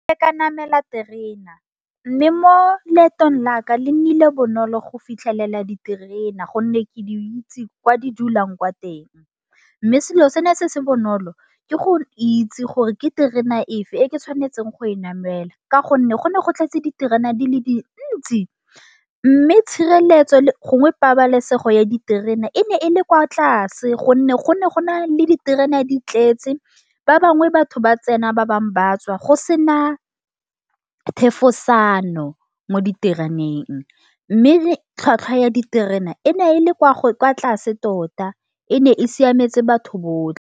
Ne ka namela terena. Mme mo leetong laka le nnile bonolo go fitlhelela diterena, gonne ke di itse kwa di dulang kwa teng. Mme selo sene se se bonolo, ke go itse gore ke terena efe e ke tshwanetseng go e namela, ka gonne go ne go tletse diterena di le dintsi. Mme tshireletso le gongwe pabalesego ya diterena e ne e le kwa tlase, gonne go ne gona le diterene di tletse ba bangwe batho ba tsena ba bangwe ba tswa go sena a thefosano, mo ditereneng. Mme le tlhwatlhwa ya diterena e ne e le kwa tlase tota, e ne e siametse batho botlhe.